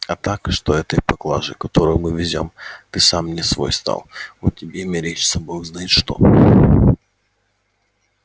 а так что от этой поклажи которую мы везём ты сам не свой стал вот тебе и мерещится бог знает что